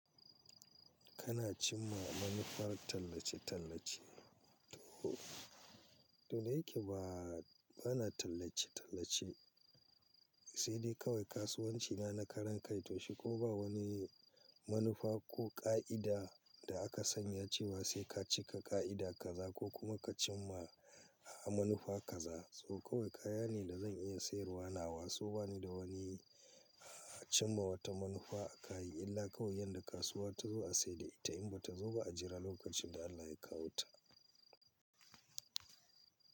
Kana cim ma manufar tallace-tallace? To, da yike ba, bana tallace-tallace, sai dai kawai kasuwanci na na karan kai, to shi ko ba wani manufa ko ƙa'ida da aka sanya cewa sai ka cika ƙa'ida kaza ko kuma ka cim ma, ah, manufa kaza. Sau kawai kaya ne da zan iya siyarwa nawa, so bani da wani, ah, cimma wata manufa a kayi illa kawai yadda kasuwa ta zo a sayar da ita in bata zo ba a jira lokacin da Allah ya kawo ta.